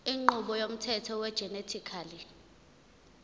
inqubo yomthetho wegenetically